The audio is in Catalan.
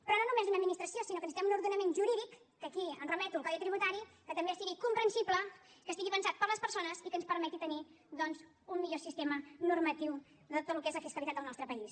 però no només una administració sinó que necessitem un ordenament jurídic que aquí em remeto al codi tributari que també sigui comprensible que estigui pensat per a les persones i que ens permet tenir doncs un millor sistema normatiu de tot el que és la fiscalitat del nostre país